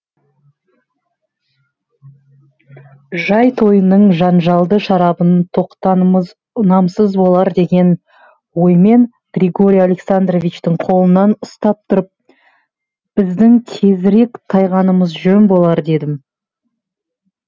жат тойының жанжалды шарабын татқанымыз ұнамсыз болар деген оймен григорий александровичтың қолынан ұстап тұрып біздің тезірек тайғанымыз жөн болар дедім